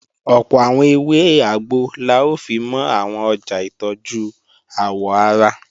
Ọ̀pọ̀ àwọn ewé àgbo la ó fimọ́ àwọn ọjà ìtọ́jú àwọ̀ ara